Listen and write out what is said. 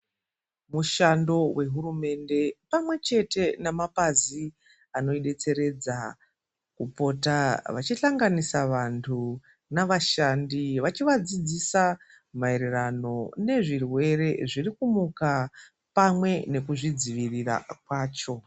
Mushando wehurumende pamwe chete nemapazi anodetseredza kupota vachisanganisa vantu navashandi vachivadzidzisa maererano nezvirwere zviri kumuka pamwe nekuzvidzivirira kwacho.